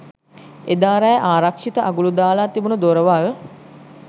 එදා රෑ ආරක්ෂිත අගුළු දාලා තිබුන දොරවල්